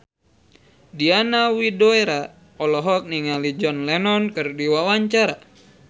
Diana Widoera olohok ningali John Lennon keur diwawancara